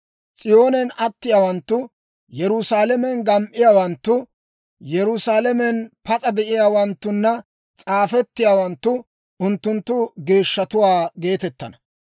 S'iyoonen attiyaawanttu, Yerusaalamen gam"iyaawanttu, Yerusaalamen pas'a de'iyaawanttunna s'aafettiyaawanttu, «Unttunttu geeshshatuwaa» geetettana.